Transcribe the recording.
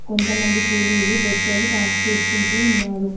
కొంత మంది కూలీలు బొచ్చెలు పాస్ చేసుకుంటూ ఉన్నారు.